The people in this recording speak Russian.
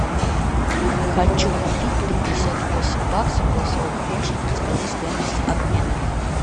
хочу купить пятьдесят восемь баксов голосовой помощник подскажи стоимость обмена